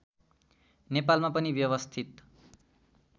नेपालमा पनि व्यवस्थित